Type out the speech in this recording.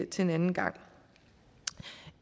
til en anden gang